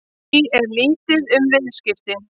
Því er lítið um viðskipti